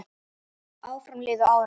Áfram liðu árin.